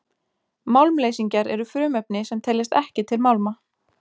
Málmleysingjar eru frumefni sem teljast ekki til málma.